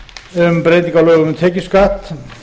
um breytingu á lögum um tekjuskatt